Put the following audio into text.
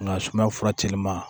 Nka sumaya fura teliman